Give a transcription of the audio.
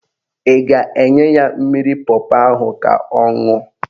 Ị ga-enye ya mmiri pọpọ ahụ ka ọ ṅụọ?